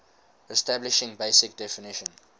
establishing basic definition